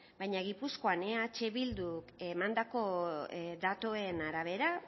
baina gipuzkoan eh bildu emandako datuen arabera